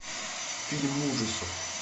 фильм ужасов